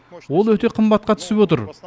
ол өте қымбатқа түсіп отыр